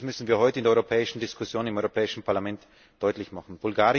Das müssen wir heute in der europäischen Diskussion im Europäischen Parlament deutlich machen.